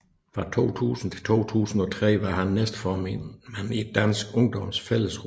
Fra 2000 til 2003 var han næstformand for Dansk Ungdoms Fællesråd